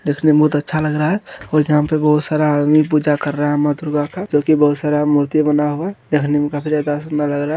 देखने में बहुत अच्छा लग रहा है और यहाँ पे बहुत सारा आदमी पूजा कर रहा है माँ दुर्गा का जो की बहुत सारा मूर्ति बना हुआ है देखने में काफी ज्यादा सुन्दर लग रहा है।